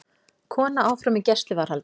Kona áfram í gæsluvarðhaldi